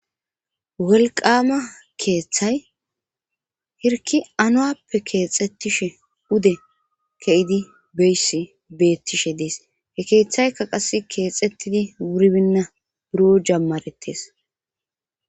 welqaama keeththay hirki anowappe keexettishe ude ke7idi beyssi beettishe dees he keeththaykka qas keexettidi buribinna buro jammarettes